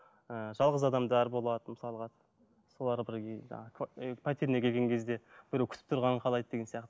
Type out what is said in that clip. ыыы жалғыз адамдар болады мысалға солар бірге жаңа і пәтеріне келген кезде біреу күтіп тұрғанын қалайды деген сияқты